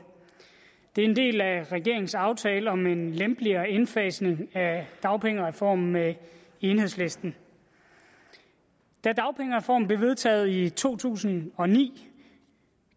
det er en del af regeringens aftale om en lempeligere indfasning af dagpengereformen med enhedslisten da dagpengereformen blev vedtaget i to tusind og ni